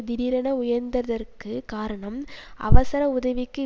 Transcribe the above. திடீரென உயர்ந்ததற்குக் காரணம் அவசர உதவிக்கு